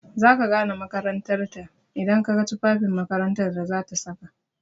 Za ka gane makarantar ta idan ka ga tufafin makarantar da zata saka.